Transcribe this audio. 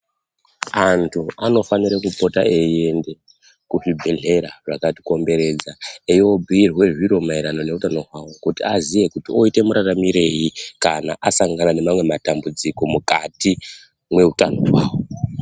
Anthu anofanire kupota eienda kuzvibhedhlera zvakatikomberedza eibhiirwa zviro maererano neutano hwao kuti aziye kuti oita mararamirei kana asangana nemamwe matambudziko mukati mweutano hwavo.